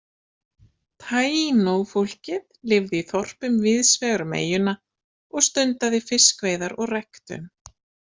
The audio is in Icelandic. Taino-fólkið lifði í þorpum víðs vegar um eyjuna og stundaði fiskveiðar og ræktun.